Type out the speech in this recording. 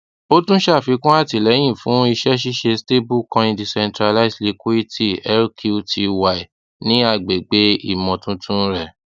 o tun ṣàfikún àtilẹ̀yìn fun ìsẹ́ṣìṣe cs] stablecoin decentralized liquity lqty ni àgbègbè ìmọ̀ tuntun rẹ